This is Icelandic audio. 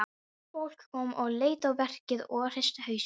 Fólk kom og leit á verkið og hristi hausinn.